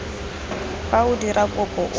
fa o dira kopo o